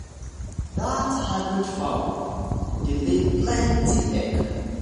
that hybrid fowl breed dey lay plenty egg.